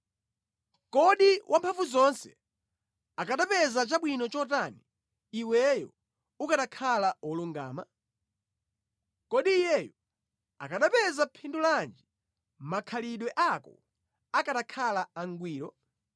Kodi Wamphamvuzonse akanapeza chabwino chotani iweyo ukanakhala wolungama? Kodi iyeyo akanapeza phindu lanji makhalidwe ako akanakhala angwiro?